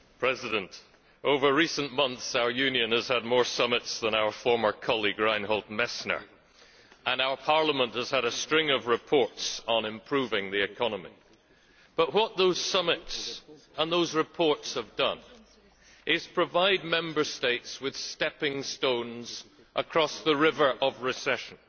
Mr President, over recent months, our Union has had more summits than our former colleague Reinhold Messner, and our Parliament has had a string of reports on improving the economy, but what those summits and those reports have done is provide Member States with stepping stones across the river of recession.